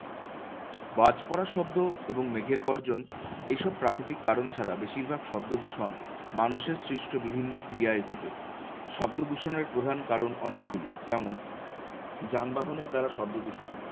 বাজ পড়ার শব্দ এবং মেঘের গর্জন এইসব প্রাকৃতিক কারণ ছাড়া বেশিরভাগ শব্দদূষণ মানুষের সৃষ্ট বিভিন্ন ক্রিয়ায় ঘটে। শব্দদূষণের প্রধান কারণ অনেকগুলি যেমন, যানবাহনের দ্বারা শব্দদূষণ।